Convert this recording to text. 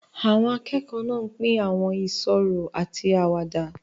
Àwọn akẹ́kọ̀ọ́ náà ń pín àwọn ìṣòro àti àwàdà.